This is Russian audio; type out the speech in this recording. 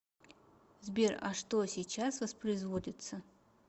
сбер а что сейчас воспроизводится